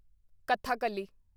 Kathakali